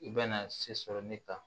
I bɛna se sɔrɔ ne ta